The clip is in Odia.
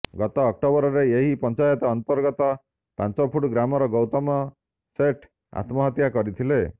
ଗତ ଅକ୍ଟୋବରରେ ଏହି ପଞ୍ଚାୟତ ଅନ୍ତର୍ଗତ ପାଞ୍ଚଫୁଟ ଗ୍ରାମର ଗୌତମ ସେଠ ଆତ୍ମହତ୍ୟା କରିଥିଲେ